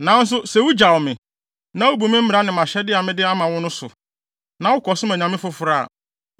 “Nanso, sɛ wugyaw me, na wubu mmara ne mʼahyɛde a mede ama mo no so, na wokɔsom anyame foforo a,